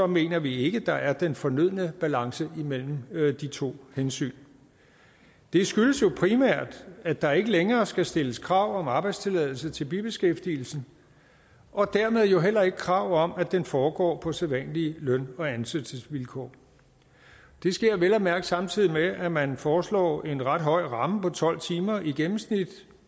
mener vi ikke at der er den fornødne balance imellem de to hensyn det skyldes jo primært at der ikke længere skal stilles krav om arbejdstilladelse til bibeskæftigelsen og dermed jo heller ikke krav om at den foregår på sædvanlige løn og ansættelsesvilkår det sker vel at mærke samtidig med at man foreslår en ret høj ramme på tolv timer i gennemsnit